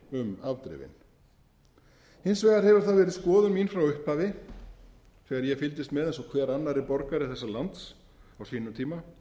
um afdrifin hins vegar hefur það verið skoðun mín frá upphafi þegar ég fylgdist með eins og hver annar borgari þessa lands á sínum tíma